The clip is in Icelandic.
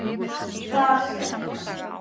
þar sem